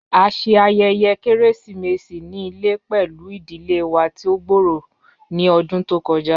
A ṣe ayẹyẹ keresimesi ni ile pẹlu idile wa ti o gbooro ni ọdun to kọja.